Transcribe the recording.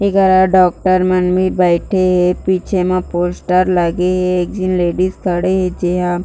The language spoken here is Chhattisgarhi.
एकरा डॉक्टर मन मे बैठे हे पीछे म पोस्टर लगे हे एक झीन लेडीज खड़े हे जेहा--